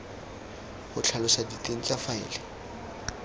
go tlhalosa diteng tsa faele